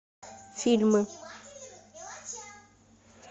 фильмы